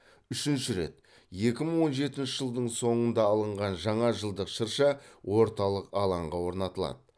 үшінші рет екі мың он жетінші жылдың соңында алынған жаңа жылдық шырша орталық алаңға орнатылады